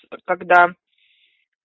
вот когда